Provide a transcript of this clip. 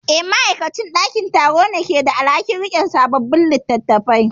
Eh, ma'aikacin ɗakin karatu ne ke da alhakin yin rikodin sabbin littattafan.